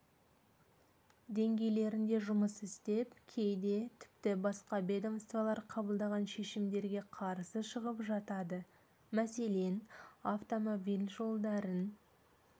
деңгейлерінде жұмыс істеп кейде тіпті басқа ведомстволар қабылдаған шешімдерге қарсы шығып жатады мәселен автомобиль жолдарын